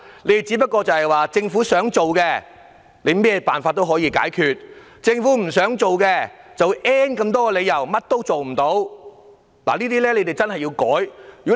其實如果政府想做的話，無論用甚麼辦法問題總也可以解決；政府不想做的話，理由便有 "N" 個，最終一事無成。